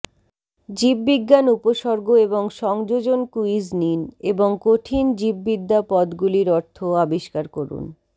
জীববিজ্ঞান উপসর্গ এবং সংযোজন ক্যুইজ নিন এবং কঠিন জীববিদ্যা পদগুলির অর্থ আবিষ্কার করুন